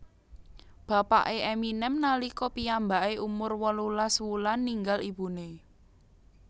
Bapake Eminem nalika piyambake umur wolulas wulan ninggal ibune